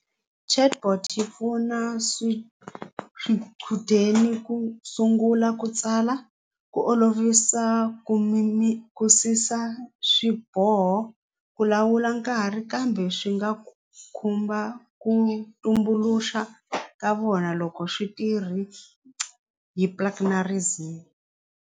Chatbot yi pfuna swichudeni ku sungula ku tsala ku olovisa ku mi mi swiboho ku lawula nkarhi kambe swi nga khumba ku tumbuluxa ka vona loko xitirhi hi .